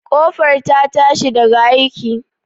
Ƙofar ta tashi daga aiki?